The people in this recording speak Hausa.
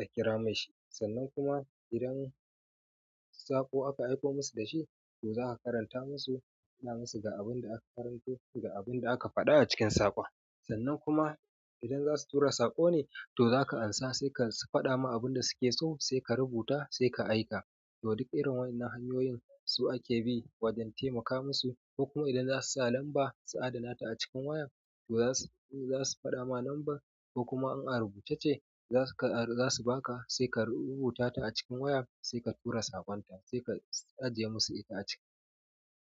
a kira mai shi. Sannan kuma idan saƙo aka aiko musu da shi, to za ka karanta musu, faɗa musu ga abin da aka karanto ga abin da aka faɗa a cikin saƙon. Sannan kuma idan za su tura saƙo ne, to za ka ansa sai ka faɗa ma abin da suke so sai ka rubuta sai ka aika. To duk irin wanan hanyoyin su ake bi wajen taimaka musu. Kokuma idan za su sa lambar su adana ta a cikin wayan, to za su, za su faɗa ma lambar, kokuma in a rubuce ce za su, za su baka sai ka rubuta ta a cikin wayan sai ka tura saƙon ta sai ka ajiye musu ita a ciki.